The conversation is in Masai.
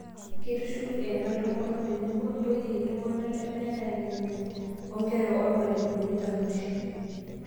Keitushulu ena ntomonok tenebo, intoiyie, iltung'anak lemeeta enemany, onkera ormalimuni Taruesh